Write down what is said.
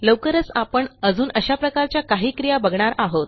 लवकरच आपण अजून अशा प्रकारच्या काही क्रिया बघणार आहोत